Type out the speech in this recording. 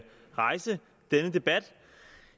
rejse denne debat